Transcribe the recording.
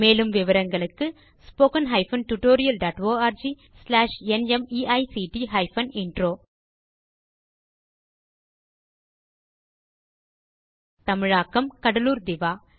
மேலும் விவரங்களுக்கு spoken hyphen tutorial dot org slash NMEICT hyphen intro தமிழாக்கம் கடலூர் திவா